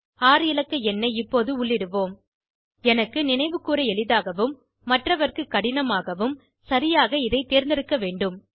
6 இலக்க எண்ணை இப்போது உள்ளிடுவோம் எனக்கு நினைவு கூர எளிதாகவும் மற்றவர்க்குக் கடினமாகவும் சரியாக இதை தேர்ந்தெடுக்க வேண்டும்